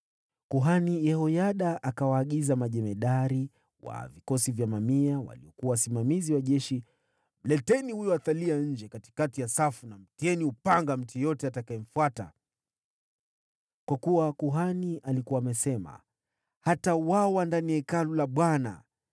Kuhani Yehoyada akawaagiza majemadari wa vikosi vya mamia, waliokuwa viongozi wa jeshi, “Mleteni nje kati ya safu, na mkamuue kwa upanga yeyote anayemfuata.” Kwa kuwa kuhani alikuwa amesema, “Hatauawa ndani ya Hekalu la Bwana .”